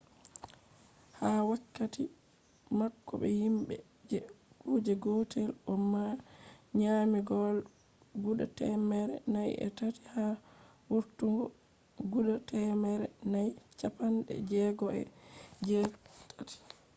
ha wakkati mako be himbe je kuje gotel o nyami goal guda temmere nayi e tati ha vurtugo guda temmere nayi chappande jegoo e jee tati